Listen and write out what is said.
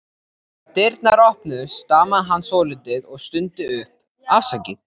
Þegar dyrnar opnuðust stamaði hann svolítið og stundi upp: Afsakið